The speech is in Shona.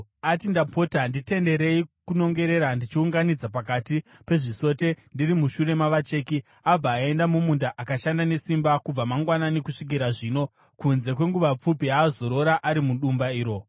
Ati, ‘Ndapota nditenderei kunongera ndichiunganidza pakati pezvisote ndiri mushure mavacheki.’ Abva aenda mumunda akashanda nesimba kubva mangwanani kusvikira zvino, kunze kwenguva pfupi yaazorora ari mudumba iro.”